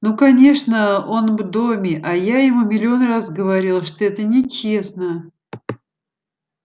ну конечно он в доме а я ему миллион раз говорила что это нечестно